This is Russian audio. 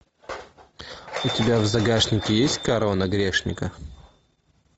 у тебя в загашнике есть корона грешника